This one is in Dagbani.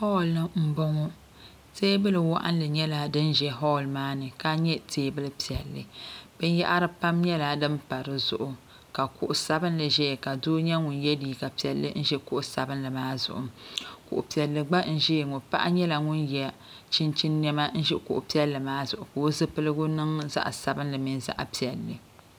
Holni m boŋɔ teebuli waɣinli nyɛla din za hol maa maani ka nyɛ teebuli piɛlli binyahiri pam nyɛla din pa di zuɣu ka kuɣu sabinli ʒɛya ka paɣa n nyɛ ŋun ye liiga piɛlli n ʒi kuɣu sabinli maa zuɣu kuɣu piɛlli gba n ʒia ŋɔ paɣa nyɛla ŋun ye chinchini niɛma n ʒi kuɣu piɛlli maa zuɣu ka o zipiligu niŋ zaɣa sabinli mini zaɣa piɛlli.